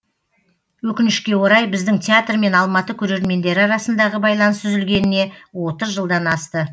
өкінішке орай біздің театр мен алматы көрермендері арасындағы байланыс үзілгеніне отыз жылдан асты